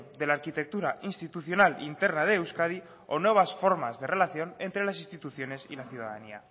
de la arquitectura institucional interna de euskadi o nuevas formas de relación entre las instituciones y la ciudadanía